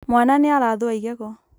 mwana nĩ arathũa igego